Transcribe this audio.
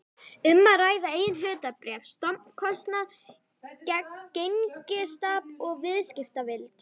um að ræða eigin hlutabréf, stofnkostnað, gengistap og viðskiptavild.